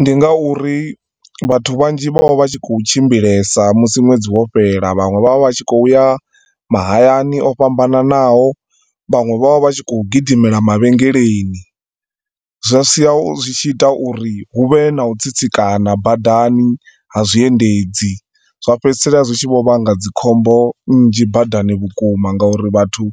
Ndi nga uri vhathu vhanzhi vho vha vha khou tshimbilesa musi nwedzi wo fhela, vhanwe vha vha vha tshi khouya mahayani o fhambananaho, vhanwe vho vha vha tshi khou gidimela mavhengeleni, zwa sia zwi tshi ita uri hu vhe na u tsitsikana badani ha zwiendedzi. Zwa fhedzisela zwi tshi vho vhanga dzikhombo nzhi badani vhukuma ngauri vhathu